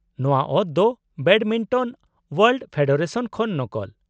-ᱱᱚᱶᱟ ᱚᱛ ᱫᱚ ᱵᱮᱰᱢᱤᱱᱴᱚᱱ ᱳᱣᱟᱨᱞᱰ ᱯᱷᱮᱰᱟᱨᱮᱥᱚᱱ ᱠᱷᱚᱱ ᱱᱚᱠᱚᱞ ᱾